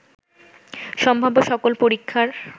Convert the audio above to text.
সম্ভাব্য সকল পরীক্ষার